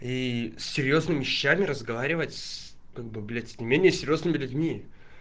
и с серьёзными щами разговаривать как бы блять с не менее серьёзными людьми